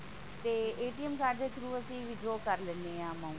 ਤੇ card ਦੇ through ਅਸੀਂ withdraw ਕਰ ਲਿੰਦੇ ਹਾਂ amount